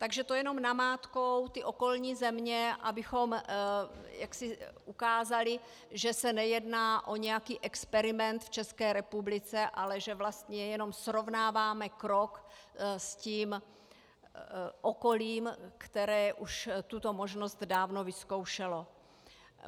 Takže to jenom namátkou ty okolní země, abychom ukázali, že se nejedná o nějaký experiment v České republice, ale že vlastně jenom srovnáváme krok s tím okolím, které už tuto možnost dávno vyzkoušelo.